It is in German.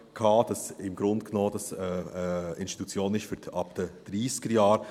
Es ist im Grunde genommen eine Institution ab den Dreissigerjahren.